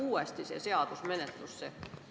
Või tuleb kõik see uude menetlusse?